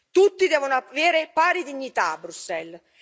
Tutti devono avere pari dignità a Bruxelles.